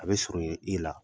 A bɛ surun ye i la